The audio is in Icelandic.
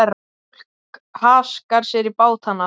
Fólk haskar sér í bátana.